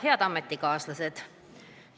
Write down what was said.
Head ametikaaslased!